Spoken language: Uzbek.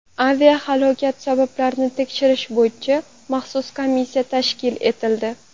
Aviahalokat sabablarini tekshirish bo‘yicha maxsus komissiya tashkil etildi.